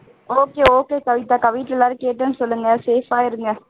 okay okay கவிதாக்கா வீட்ல எல்லாரையும் கேட்டேன்னு சொல்லுங்க safe ஆ இருங்க